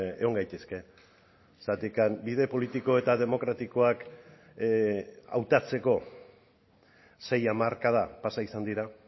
egon gaitezke zergatik bide politiko eta demokratikoak hautatzeko sei hamarkada pasa izan dira